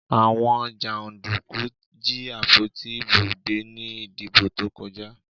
Àwọn jàndùkú jí àpótí ìbò gbé ní ìdìbò tó kọjá.